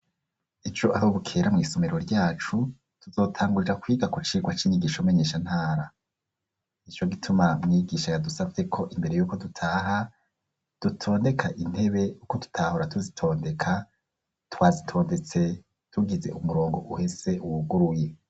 Ejo aho bukera mw'isomero ryacu tuzotangurira kwiga kucirwa c'inyigisho menyeshantara icyo gituma myigisha yadusapfe ko imbere yuko dutaha dutoneka intebe uko tutahora tuzitondeka twazitondetse tugize umurongo uhese uwuguruye.